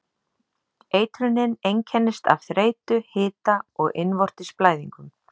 Eitrunin einkennist af þreytu, hita og innvortis blæðingum.